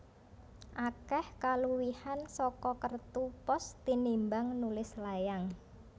Akeh kaluwihan saka kertu pos tinimbang nulis layang